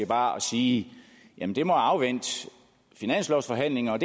bare at sige jamen det må afvente finanslovsforhandlingerne